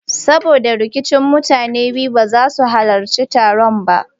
Saboda rikicin mutanen biyu ba za su halarci taron ba.